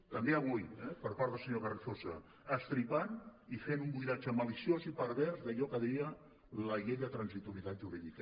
també avui eh per part del senyor carrizosa estripant i fent un buidatge maliciós i pervers d’allò que deia la llei de transitorietat jurídica